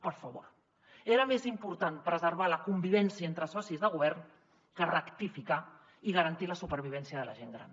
per favor era més important preservar la convivència entre socis de govern que rectificar i garantir la supervivència de la gent gran